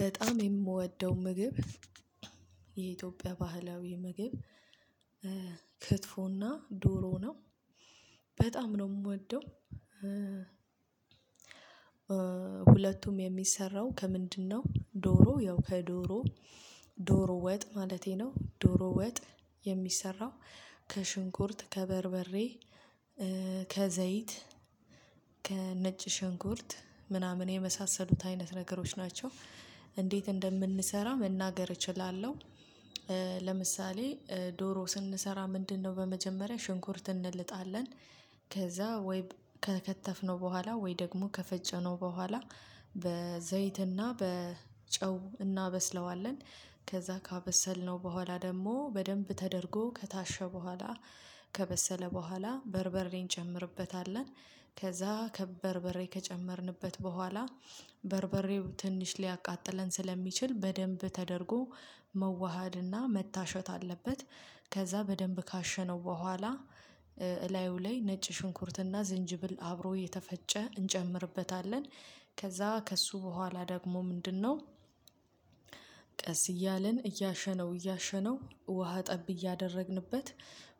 በጣም የምወደው ምግብ የኢትዮጵያ ባህላዊ ምግብ ክትፎና ዶሮ ነው በጣም ነው የምወደው። ሁለቱም የሚሰራው ከምንድነው? ዶሮ ያው ከዶሮ ዶሮ ወጥ ማለቴ ነው ዶሮ ወጥ የሚሰራው ከሽንኩርት ከበርበሬ ከዘይት ከነጭ ሸንኩርት ምናምን የመሳሰሉት አይነት ነገሮች ናቸው። እንዴት እንደምንሰራ መናገር እችላለሁ። ለምሳሌ ዶሮ ስንሰራ ምንድነው? በመጀመሪያ ሽንኩርት እንልጣለን። ከዛ ወይ ከከተፍነው በኋላ ወይ ደግሞ ከፈጨነው በኋላ በዘይትና በጨው እናበስለዋለን። ከዛ ካበሰልነው በኋላ ደግሞ በደንብ ተደርጎ ከታሸ በኋላ ከበሰለ በኋላ በርበሬ እንጨምርበታለን። ከዛ በርበሬ ከጨመርንበት በኋላ በርበሬው ትንሽ ሊያቃጥለን ስለሚችል በደንብ ተደርጎ መዋሃድና መታሸት አለበት። ከዛ በደንብ ካሸነው በኋላ እላዩ ላይ ነጭ ሽንኩርትና ዝንጅብል አብሮ የተፈጨ እንጨምርበታለን። ከዛ ከሱ በኋላ ደግሞ ምንድነው? ቀስ እያልን እያሸነው እያሸነው ውሃ ጠብ እያደረግንበት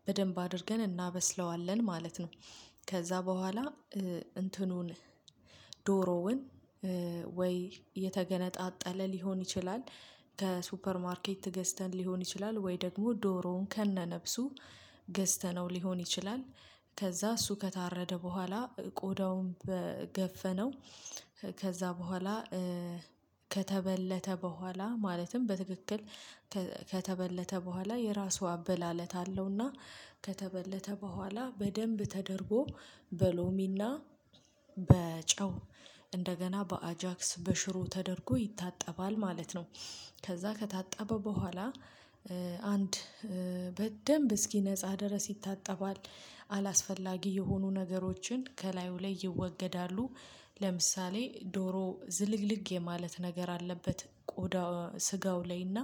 በደንብ አድርገን እናበስለዋለን ማለት ነው። ከዛ በኋላ እንትኑን ዶሮውን ወይ የተገነጣጠለ ሊሆን ይችላል ከሱፐር ማርኬት ገዝተን ሊሆን ይችላል ወይ ደግሞ ዶሮውን ከነነብሱ ገዝተነው ሊሆን ይችላል። ከዛ እሱ ከታረደ በኋላ ቆዳውን ገፈነው ከዛ በኋላ ከተበለተ በኋላ ማለትም በትክክል ከተበለተ በኋላ የራሱ አበላለት አለውና ከተበለተ በኋላ በደንብ ተደርጎ በሎሚና በጨው እንደገና በአጃክስ በሽሮ ተደርጎ ይታጠባል ማለት ነው። ከዛ ከታጠበ በኋላ አንድ በደንብ እስኪ ነፃ ድረስ ይታጠባል አላስፈላጊ የሆኑ ነገሮችን ከላዩ ላይ ይወገዳሉ። ለምሳሌ ዶሮ ዝልግልግ የማለት ነገር አለበት ቆዳ ስጋው ላይና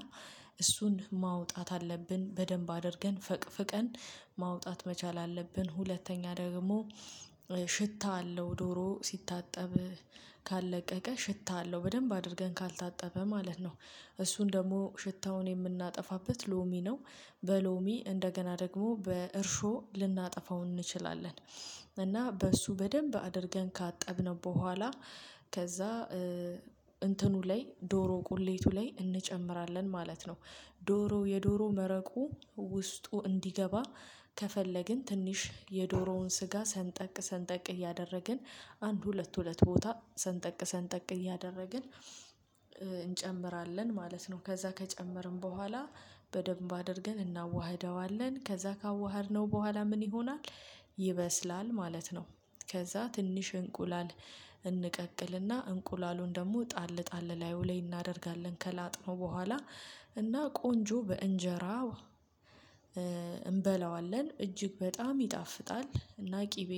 እሱን ማውጣት አለብን በደንብ አድርገን ፈቅፍቀን ማውጣት መቻል አለብን። ሁለተኛ ደግሞ ሽታ አለው ዶሮ ሲታጠብ ካለቀቀ ሽታ አለው በደንብ አድርገን ካልታጠበ ማለት ነው። እሱን ደግሞ ሽታውን የምናጠፋበት ሎሚ ነው። በሎሚ እንደገና ደግሞ በእርሾ ልናጠፋው እንችላለን። እና በእሱ በደንብ አድርገን ካጠብነው በኋላ ከዛ እንትኑ ላይ ዶሮ ቁሌቱ ላይ እንጨምራለን ማለት ነው። ዶሮ የዶሮ መረቁ ውስጡ እንዲገባ ከፈለግን ትንሽ የዶሮውን ስጋ ሰንጠቅ ሰንጠቅ እያደረግን አንድ ሁለት ሁለት ቦታ ሰንጠቅ ሰንጠቅ እያደረግን እንጨምራለን ማለት ነው። ከዛ ከጨመርን በኋላ በደንብ አድርገን እናዋህደዋለን ከዛ ካዋሀድነው በኋላ ምን ይሆናል? ይበስላል ማለት ነው። ከዛ ትንሽ እንቁላል እንቀቅልና እንቁላሉን ደግሞ ጣል ጣል ላዩ ላይ እናደርጋለን ከላጥነው በኋላ እና ቆንጆ በእንጀራ እንበላዋለን እጅግ በጣም ይጣፍጣል። እና ቅቤ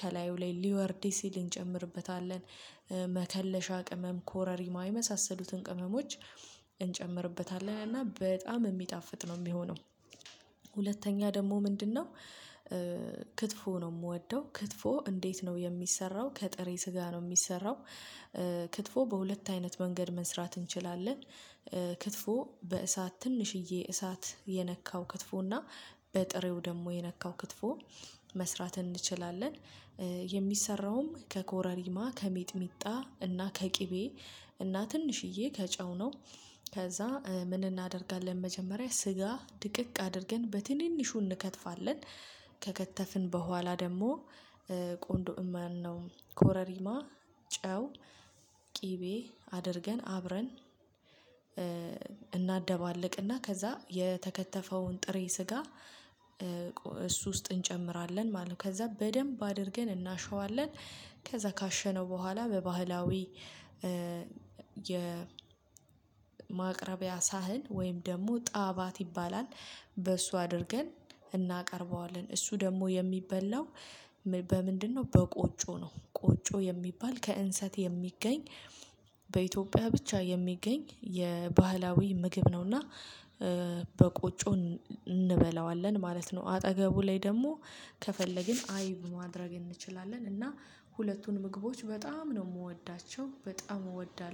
ከላዩ ላይ ሊወርድ ሲል እንጨምርበታለን መከለሻ ቅመም ኮረሪማ ይመሳሰሉትን ቅመሞች እንጨምርበታለን እና በጣም የሚጣፍጥ ነው የሚሆነው። ሁለተኛ ደግሞ ምንድነው? ክትፎ ነው የምወደው። ክትፎ እንዴት ነው የሚሰራው? ከጥሬ ስጋ ነው የሚሰራው። ክትፎ በሁለት አይነት መንገድ መስራት እንችላለን። ክትፎ በእሳት ትንሽዬ እሳት የነካው ክትፎና በጥሬው ደግሞ የነካው ክትፎ መስራት እንችላለን። የሚሰራውም ከኮረሪማ ከሚጥሚጣ እና ከቅቤ እና ትንሽዬ ከጨው ነው። ከዛ ምን እናደርጋለን መጀመሪያ ስጋ ድቅቅ አድርገን በትንንሹ እንከትፋለን። ከከተፍን በኋላ ደግሞ ቆንዶ ማነው ኮረሪማ ጨው ቅቤ አድርገን አብረን እናደባልቅና ከዛ የተከተፈውን ጥሬ ስጋ እሱ ውስጥ እንጨምራለን ማለት ነው። ከዛ በደንብ አድርገን እናሸዋለን። ከዛ ካሸነው በኋላ በባህላዊ የ የማቅረቢያ ሳህን ወይም ደግሞ ጣባት ይባላል። በሱ አድርገን እናቀርበዋለን። እሱ ደግሞ የሚበላው በምንድነው? በቆጮ ነው ቆጮ የሚባል ከእንሰት የሚገኝ በኢትዮጵያ ብቻ የሚገኝ የባህላዊ ምግብ ነውና። በቆጮው እንበላዋለን ማለት ነው። አጠገቡ ላይ ደግሞ ከፈለግን አይብ ማድረግ እንችላለን እና ሁለቱን ምግቦች በጣም ነው የምወዳቸው። በጣም እወዳለሁ